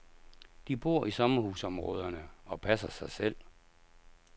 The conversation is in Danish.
De bor i sommerhusområderne, og passer sig selv.